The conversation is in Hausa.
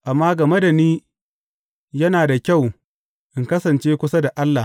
Amma game da ni, yana da kyau in kasance kusa da Allah.